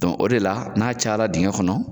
o de la n'a caya dingɛ kɔnɔ,